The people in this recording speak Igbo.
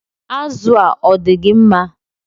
Azụ a, odigi mma?